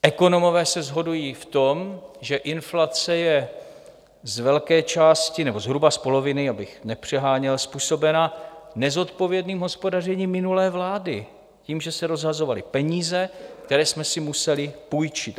Ekonomové se shodují v tom, že inflace je z velké části, nebo zhruba z poloviny, abych nepřeháněl, způsobena nezodpovědným hospodařením minulé vlády, tím, že se rozhazovaly peníze, které jsme si museli půjčit.